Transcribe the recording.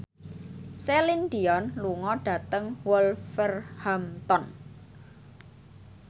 Celine Dion lunga dhateng Wolverhampton